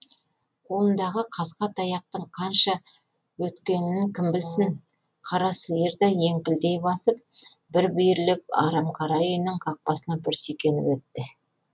қолындағы қасқа таяқтың қанша өткенін кім білсін қара сиыр да еңкілдей басып бір бүйірлеп арамқара үйінің қақпасына бір сүйкеніп етті